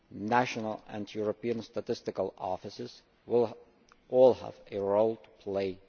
National and European statistical offices will all have a role to play.